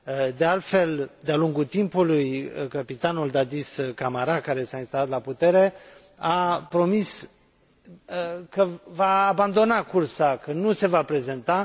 De altfel, de a lungul timpului căpitanul Dadis Camara, care s a instalat la putere, a promis că va abandona cursa, că nu se va prezenta.